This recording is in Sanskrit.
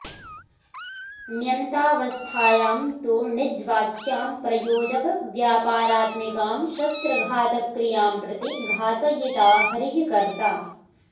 ण्यन्तावस्थायां तु णिज्वाच्यां प्रयोजकव्यापारात्मिकां शस्त्रघातक्रियां प्रति घातयिता हरिः कर्ता